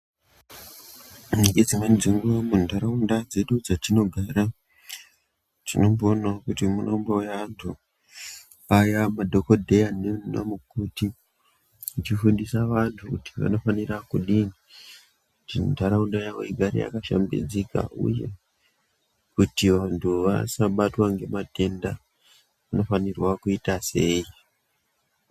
Ngedzimweni dzenguwa muntaraunda dzedu dzetinogara, tinomboonawo kuti munombouya antu, aya madhokodheya nana mukoti achifundisa vantu kuti vanofanira kudini kuti ntaraunda yawo igare yakashambidzika uye kuti vantu vasabatwa ngematenda vanofanirwa kuita sei.